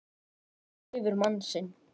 Hún lifir mann sinn.